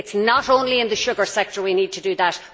It is not only in the sugar sector that we need to do that.